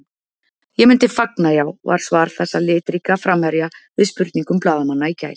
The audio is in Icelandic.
Ég myndi fagna, já, var svar þessa litríka framherja við spurningum blaðamanna í gær.